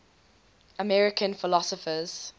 american philosophers